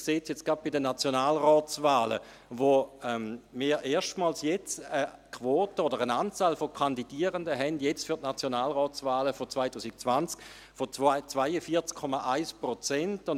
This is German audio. Man sieht es jetzt gerade bei den Nationalratswahlen, wo wir jetzt erstmals eine Quote oder eine Anzahl von Kandidierenden haben, jetzt für die Nationalratswahlen 2020, von 42,1 Prozent.